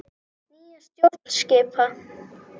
Nýja stjórn skipa.